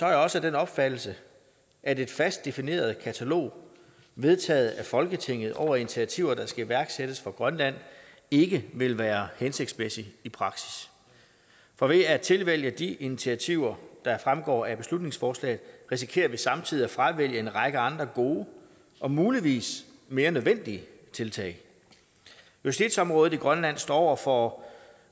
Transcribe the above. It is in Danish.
jeg også af den opfattelse at et fast defineret katalog vedtaget af folketinget over initiativer der skal iværksættes for grønland ikke vil være hensigtsmæssigt i praksis for ved at tilvælge de initiativer der fremgår af beslutningsforslaget risikerer vi samtidig at fravælge en række andre gode og muligvis mere nødvendige tiltag justitsområdet i grønland står over for